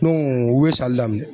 u ye sali daminɛ